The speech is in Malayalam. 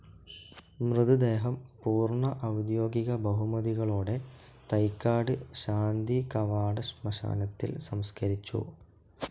മൃതദേഹം പൂർണ ഔദ്യോഗിക ബഹുമതികളോടെ തൈക്കാട് ശാന്തികവാടം ശ്മശാനത്തിൽ സംസ്കരിച്ചു.